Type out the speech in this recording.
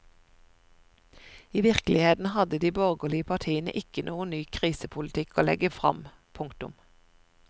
I virkeligheten hadde de borgerlige partiene ikke noen ny krisepolitikk å legge fram. punktum